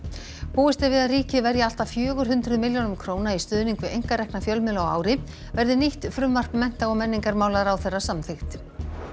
búist er við að ríkið verji allt að fjögur hundruð milljónum króna í stuðning við einkarekna fjölmiðla á ári verði nýtt frumvarp mennta og menningarmálaráðherra samþykkt